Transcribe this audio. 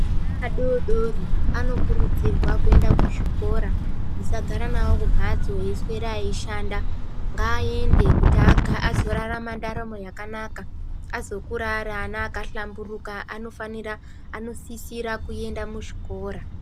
Ana adodori anokurudzirwa kuenda kuzvikora musagara nawo kumhatso eiswera eishanda ngayende kuti azorarama ndaramo yakanaka azokura ari ana akahlamburuka anofanira anosisira kuenda muzvikora.